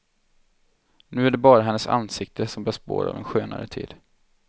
Nu är det bara hennes ansikte som bär spår av en skönare tid.